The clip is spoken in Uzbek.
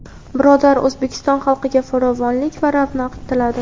birodar O‘zbekiston xalqiga farovonlik va ravnaq tiladi.